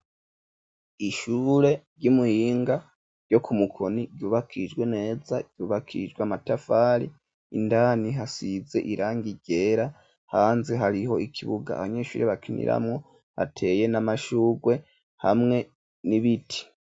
Ishure ry'umuhinga ryo ku mukoni ryubakishijwe neza ryubakishijwe amatafari indani hasize irangi ryera hanze hariho ikibuga abanyeshuri bakiniramwo hateye n'amashurwe hamwe n'ibiti.